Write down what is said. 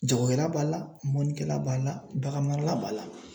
Jagokɛla b'a la mɔnnikɛla b'a la baganmara la b'a la.